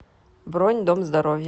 бронь дом здоровья